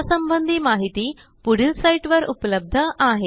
या संबंधी माहिती पुढील साईटवर उपलब्ध आहे